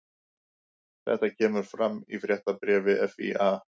Þetta kemur fram í fréttabréfi FÍA